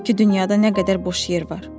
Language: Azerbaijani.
halbuki dünyada nə qədər boş yer var.